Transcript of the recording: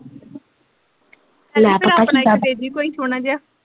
ਮੈ ਪਤਾ ਦੇਂਦੀ ਕੋਈ ਸੋਹਣਾ ਜੇਹਾ।